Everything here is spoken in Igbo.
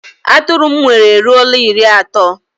Atụrụ m nwere eruola iri ato